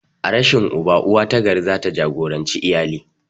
A rashin uba, uwa ta gari za ta jagoranci iyali.